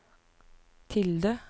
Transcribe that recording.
tilde